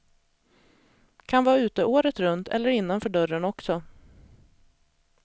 Kan vara ute året runt, eller innanför dörren också.